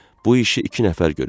Bu işi iki nəfər görür.